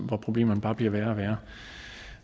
hvor problemerne bare bliver værre